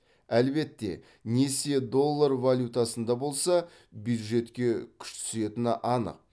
әлбетте несие доллар валютасында болса бюджетке күш түсетіні анық